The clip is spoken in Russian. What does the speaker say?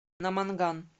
наманган